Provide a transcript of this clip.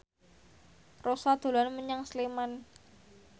Rossa dolan menyang Sleman